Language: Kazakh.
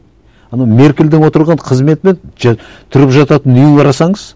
ана меркельдің отырған қызметі мен тұрып жататын үйін қарасаңыз